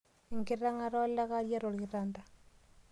Inkiteng'ata olakaria te orkitanda.